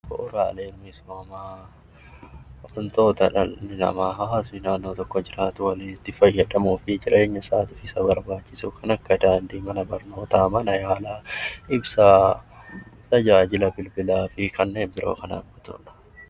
Bu'uuraaleen misoomaa wantoota dhalli namaa hawaasni naannoo tokko jiraatu waliin itti fayyadamuu fi jireenya isaatiif Isa barbaachisu kan akka daandii, mana barnootaa, mana yaalaa, ibsaa, tajaajila bilbilaa fi kanneen biroo kan hammatudha